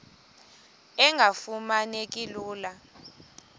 engafuma neki lula